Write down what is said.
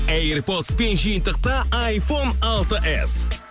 эйрпотспен жиынтықта айфон алты эс